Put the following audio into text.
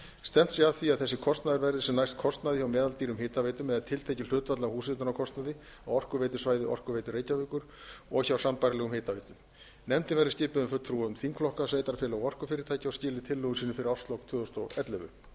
stefnt sé að því að þessi kostnaður verði sem næst kostnaði hjá meðaldýrum hitaveitum eða tiltekið hlutfall af húshitunarkostnaði á orkuveitusvæði orkuveitu reykjavíkur og hjá sambærilegum hitaveitum nefndin verði skipuð fulltrúum þingflokka sveitarfélaga og orkufyrirtækja og skili tillögum sínum fyrir árslok tvö þúsund og ellefu